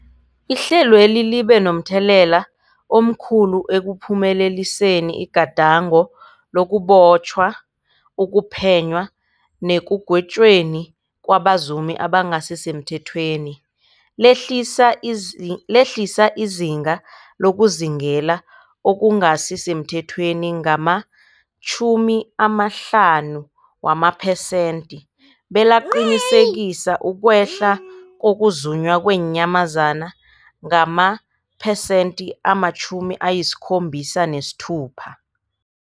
Ihlelweli libe momthelela omkhulu ekuphumeleliseni igadango lokubotjhwa, ukuphenywa nekugwetjweni kwabazumi abangasisemthethweni, lehlisa izinga lokuzuma okungasi semthethweni ngama-50 wamaphesenthe, belaqinisekisa ukwehla kokuzunywa kweenyamazana ngamapersenthe-76.